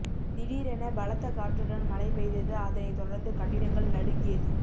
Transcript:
திடிரென பலத்த காற்றுடன் மழை பெய்தது அதனைத் தொடர்ந்து கட்டிடங்கள் நடுங்கியது